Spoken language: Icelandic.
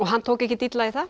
hann tók ekkert illa í það